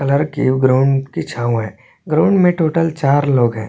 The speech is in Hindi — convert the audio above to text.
कलर की ग्राउंड की छांव है ग्राउंड में टोटल चार लोग है।